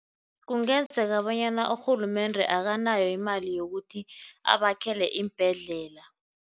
Kungenzeka bonyana urhulumende akanayo imali yokuthi abakhele iimbhedlela.